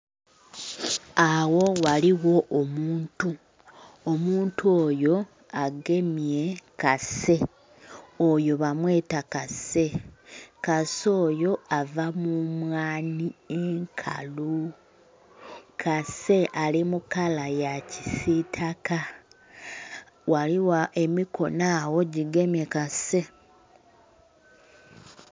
Agho ghaligho omuntu. Omuntu oyo agemye kase. Oyo bamweta kase. Kase oyo ava mu mwanhi enkalu. Kase ali mu kala ya kisiitaka. Ghaligho emikono agho gigemye kase.